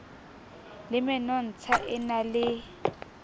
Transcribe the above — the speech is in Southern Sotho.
le menontsha e na le